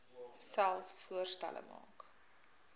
selfs voorstelle maak